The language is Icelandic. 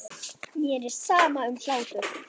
Mér er sama um hlátur.